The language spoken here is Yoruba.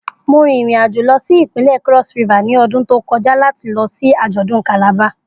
Mo rin irin ajo lọ si ipinlẹ Cross River ni ọdun to kọja lati lọ si ajọdun Calabar.